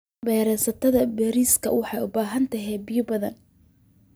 Beerista bariiska waxay u baahan tahay biyo badan.